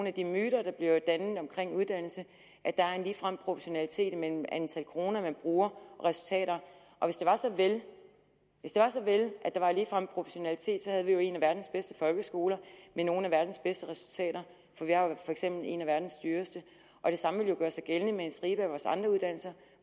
af de myter der bliver dannet omkring uddannelse at der er en ligefrem proportionalitet mellem antal kroner man bruger og resultater og hvis det var så vel at der var ligefrem proportionalitet havde vi jo en af verdens bedste folkeskoler med nogle af verdens bedste resultater for vi har jo for eksempel en af verdens dyreste og det samme ville jo gøre sig gældende med en stribe af vores andre uddannelser